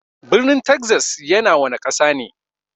Birnin Texas yana wana Ƙasa ne?